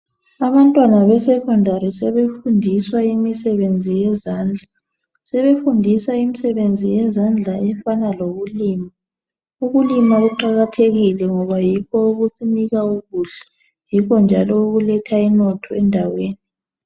abantwana be secondary sebefundiswa imisebenziyezandla sebefundiswa imisebenzi yezandla ean lokulima ukulima kuqakathekile ngoba yikho okusinika ukudla yikho njalo okuletha inotho endaweni